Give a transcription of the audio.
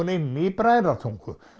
inni í Bræðratungu